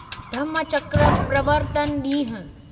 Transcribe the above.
धम्मचक्र प्रवर्तन ॾींहुं